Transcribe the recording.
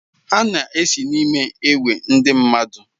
Ha na-esi n'me ewe ndi nmadụ?